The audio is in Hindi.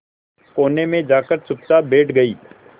कोने में जाकर चुपचाप बैठ गई